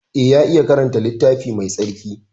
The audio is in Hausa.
Eh ya iya karanta littafi Mai tsarki.